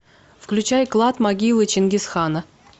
включай клад могилы чингисхана